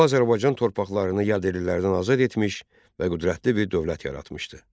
O Azərbaycan torpaqlarını yadellilərdən azad etmiş və qüdrətli bir dövlət yaratmışdı.